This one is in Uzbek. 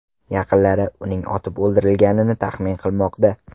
Yaqinlari uning otib o‘ldirilganini taxmin qilmoqda .